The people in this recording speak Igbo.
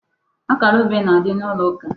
Akara obe na-adị n'ụlọ ụka.